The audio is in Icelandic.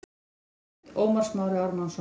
Ljósmynd: Ómar Smári Ármannsson